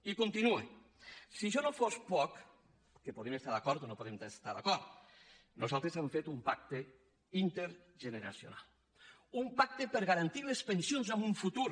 i continuo per si això no fos poc que hi podem estar d’acord o podem no estar hi d’acord nosaltres hem fet un pacte intergeneracional un pacte per garantir les pensions en un futur